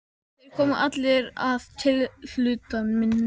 Þeir komu allir að tilhlutan minni.